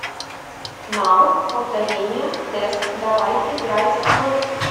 навык повторение тест давай играть в